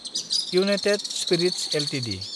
United spirits Ltd